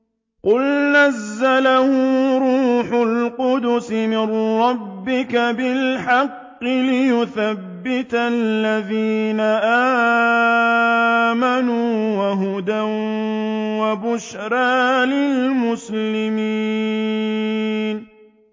قُلْ نَزَّلَهُ رُوحُ الْقُدُسِ مِن رَّبِّكَ بِالْحَقِّ لِيُثَبِّتَ الَّذِينَ آمَنُوا وَهُدًى وَبُشْرَىٰ لِلْمُسْلِمِينَ